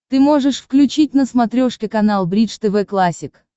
ты можешь включить на смотрешке канал бридж тв классик